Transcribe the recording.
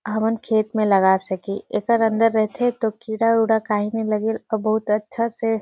हमन खेत म लगा सके ऐकर अंदर रहथे त किरा उरा काही नई लगे अऊ बहुत अच्छा से--